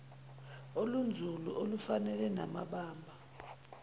olunzulu olufanele namabamba